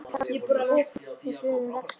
Endarnir nást saman með hröðum rekstri.